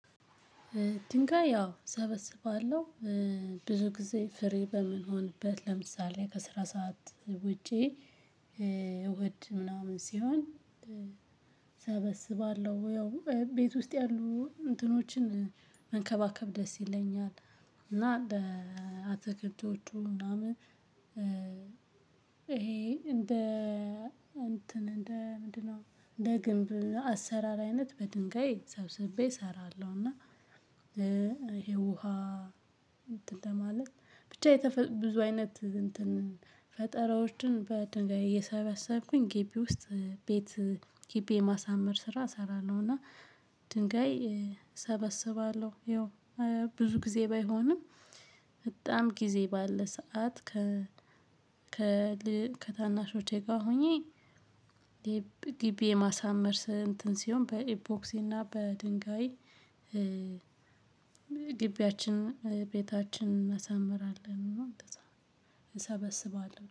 ድንጋይ ያው እሰበስባለሁ። ብዙ ጊዜ ፍር በምሆንበት ለምሳሌ ከስራ ሰዓት ውጪ። እሁድ ምናምን ሲሆን እሰበስባለሁ ያው ቤት ውስጥ ያሉ እንትኖችን መንከባከብ ደስ ይለኛል። እና እንደ አትክልቶቹ ምናምን። ይሄ እንደ እንትን እንደ ምንድነው እንደ ግንብ አሰራር አይነት በድንጋይ ሰብስቤ እሰራለሁ። እና። ይሄ ውሃ። እንትን ለማለት ብቻ የተፈጠረ ብዙ አይነት እንትን ፈጠራዎችን በድንጋይ እየሰበሰብኩኝ ግቢ ውስጥ ቤት ግቢ የማሳመር ስራ እሰራለሁና። እና ድንጋይ ሰበስባለሁ። ያው ብዙ ጊዜ ባይሆንም በጣም ጊዜ ባለ ሰዓት ከ ከልብ ከታናሾቼ ጋር ሆኜ። ግቢ የማሳመር እንትን ሲሆን በኢቦክሲ እና በድንጋይ። ግቢያችን ቤታችን እናሰምረለን እና እንደዚያ እንሰበስባለን